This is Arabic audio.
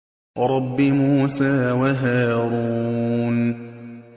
رَبِّ مُوسَىٰ وَهَارُونَ